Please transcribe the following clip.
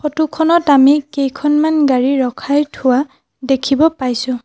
Photo খনত আমি কেইখনমান গাড়ী ৰখাই থোৱা দেখিব পাইছোঁ।